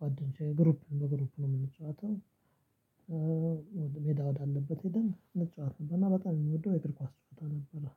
ጓደኞቼ ግሩፕ በግሩፕ ነው የምንጨዋተው። ሜዳ ወዳለበት ሄደን እንጫወት ነበርና በጣም የሚወደው የእግር ኳስ ነበረ።